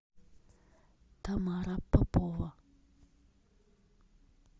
тамара попова